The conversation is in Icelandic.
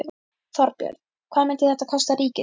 Þorbjörn: Hvað myndi þetta kosta ríkissjóð?